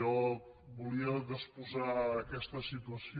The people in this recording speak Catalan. jo volia exposar aquesta si·tuació